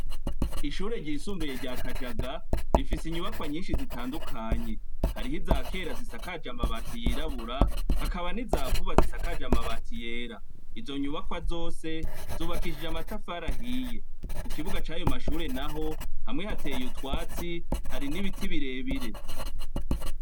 Amashure y'intango yitiriwe aba kelubiyo mu gasekebuye afise inyubakwa nzeza cane harimwo izigerekeranije zubakije amatafarahiye zikaba zifise n'amadirisha manini cane, kandi y'ibiyo ku ruzitiro rwayo mashure hamwe hasiziranga igera hakaba harimwo ivyandiko vy'amabara atandukanye harimwo ay'ubururu ayatukura hamwe n'a yirabura.